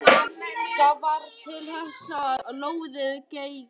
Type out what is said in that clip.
Það varð til þess að lóðið geigaði.